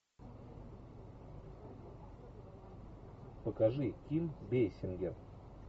покажи фильм бейсингер